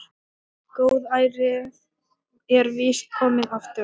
Góðærið er víst komið aftur.